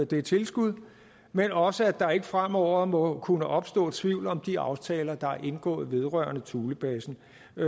det tilskud men også at der ikke fremover må kunne opstå tvivl om de aftaler der er indgået vedrørende thulebasen